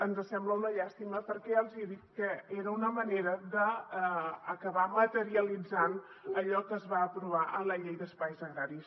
ens sembla una llàstima perquè ja els hi he dit que era una manera d’acabar materialitzant allò que es va aprovar en la llei d’espais agraris